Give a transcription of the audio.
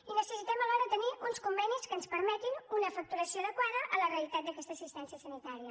i necessitem alhora tenir uns convenis que ens permetin una facturació adequada a la realitat d’aquesta assistència sanitària